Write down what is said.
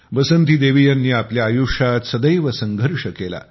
बसंती देवी यांनी आपल्या आयष्यात सदैव संघर्ष केला